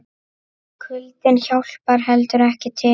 Kuldinn hjálpar heldur ekki til.